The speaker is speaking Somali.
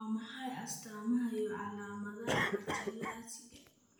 Waa maxay astamaha iyo calaamadaha achalasiga?